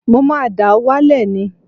Mo máa dà á wálẹ̀ ni